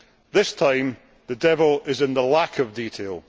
This time the devil is in the lack of detail.